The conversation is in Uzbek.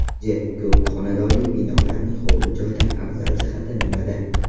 J: Ko‘p xonadonli binolarning hovli-joydan afzal jihati nimada?